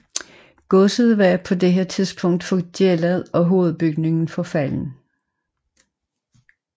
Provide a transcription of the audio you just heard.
Godset var på dette tidspunkt forgældet og hovedbygningen forfalden